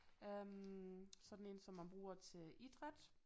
Øh sådan en som man bruger til idræt